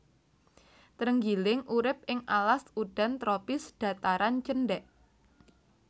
Trenggiling urip ing alas udan tropis dhataran cendhèk